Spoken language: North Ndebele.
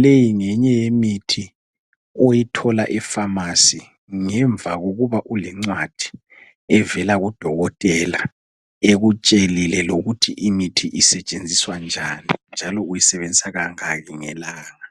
Leyi ngenye yemithi oyithola efamasi ngemva kokuba ulencwadi evela kudokotela ekutshelile lokuthi imithi isetshenziswa njani njalo uyisebenzisa kangaki ngelanga.